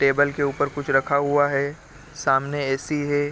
Table के ऊपर कुछ रखा हुआ है सामने ए.सी. है।